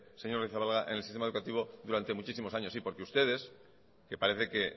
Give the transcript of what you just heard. señor agirrezabala en el sistema educativo durante muchísimos años sí porque ustedes que parece que